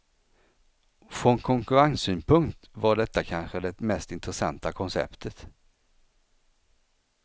Från konkurrenssynpunkt var detta kanske det mest intressanta konceptet.